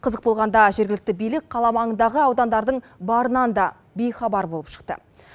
қызық болғанда жергілікті билік қала маңындағы аудандардың барынан да бейхабар болып шықты